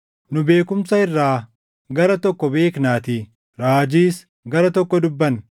Nu beekumsa irraa gara tokko beeknaatii; raajiis gara tokko dubbanna;